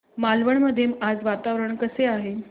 मालवण मध्ये आज वातावरण कसे आहे